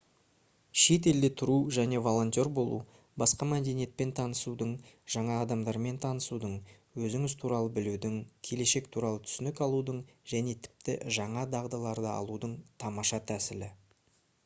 шет елде тұру және волонтер болу басқа мәдениетпен танысудың жаңа адамдармен танысудың өзіңіз туралы білудің келешек туралы түсінік алудың және тіпті жаңа дағдыларды алудың тамаша тәсілі